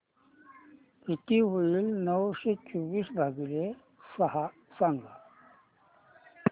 किती होईल नऊशे चोवीस भागीले सहा सांगा